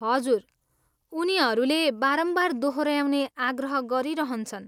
हजुर, उनहरूले बारम्बार दोहोऱ्याउने आग्रह गरिरहन्छन्।